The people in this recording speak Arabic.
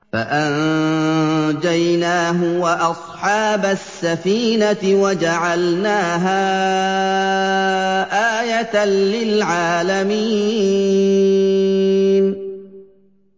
فَأَنجَيْنَاهُ وَأَصْحَابَ السَّفِينَةِ وَجَعَلْنَاهَا آيَةً لِّلْعَالَمِينَ